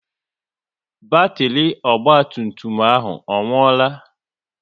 Batiri ọgba tum tum ọ nwuola?